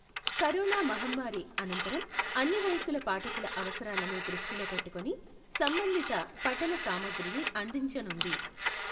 Corona మహమ్మారి అనంతరం అన్ని వయసుల పాఠకుల అవసరాలను దృష్టిలో పెట్టుకుని సంబంధిత పఠన సామగ్రిని అందించనుంది.